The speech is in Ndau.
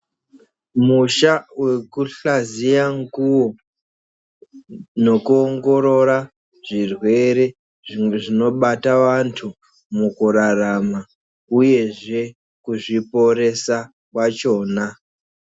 Musha vekushaziya nguvo nokuongorora zvirwere zvimwe zvinobata antu mukurarama, uyezve kuzviporesa kwachona.